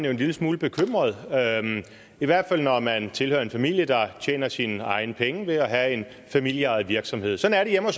en lille smule bekymret i hvert fald når man tilhører en familie der tjener sine egne penge ved at have en familieejet virksomhed sådan er